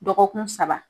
Dɔgɔkun saba